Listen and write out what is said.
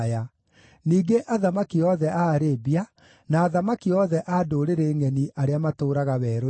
ningĩ athamaki othe a Arabia, na athamaki othe a ndũrĩrĩ ngʼeni arĩa matũũraga werũ-inĩ;